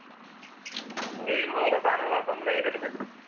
നമ്മളുചെയ്യുന്ന ഓരോ സാധനങ്ങളും അസംബിൾ ചെയ്ത് എടുക്കണ്ടെ?